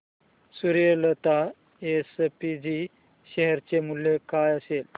Suryalata SPG share चे मूल्य काय असेल